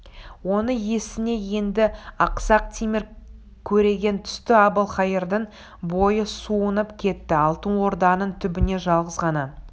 оның есіне енді ақсақ темір көреген түсті әбілқайырдың бойы суынып кетті алтын орданың түбіне жалғыз ғана